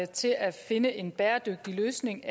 til at finde en bæredygtig løsning